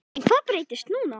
En hvað breytist núna?